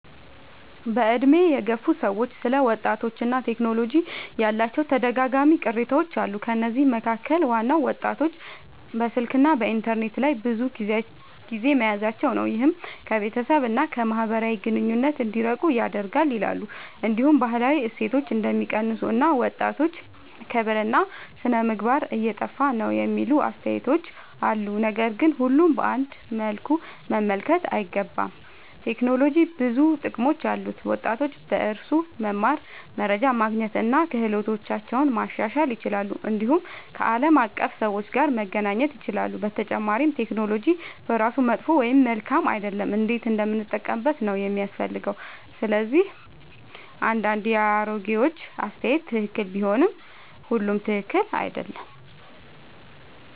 በዕድሜ የገፉ ሰዎች ስለ ወጣቶችና ቴክኖሎጂ ያላቸው ተደጋጋሚ ቅሬታዎች አሉ። ከነዚህ መካከል ዋናው ወጣቶች በስልክና በኢንተርኔት ላይ ብዙ ጊዜ መያዛቸው ነው፤ ይህም ከቤተሰብ እና ከማህበራዊ ግንኙነት እንዲርቁ ያደርጋል ይላሉ። እንዲሁም ባህላዊ እሴቶች እንደሚቀንሱ እና ወጣቶች ክብርና ሥነ-ምግባር እየጠፋ ነው የሚሉ አስተያየቶች አሉ። ነገር ግን ሁሉንም በአንድ መልኩ መመልከት አይገባም። ቴክኖሎጂ ብዙ ጥቅሞች አሉት፤ ወጣቶች በእርሱ መማር፣ መረጃ ማግኘት እና ክህሎታቸውን ማሻሻል ይችላሉ። እንዲሁም ከዓለም አቀፍ ሰዎች ጋር መገናኘት ይችላሉ። በመጨረሻ ቴክኖሎጂ በራሱ መጥፎ ወይም መልካም አይደለም፤ እንዴት እንደምንጠቀምበት ነው የሚያስፈልገው። ስለዚህ አንዳንድ የአሮጌዎች አስተያየት ትክክል ቢሆንም ሁሉም ትክክል አይደለም።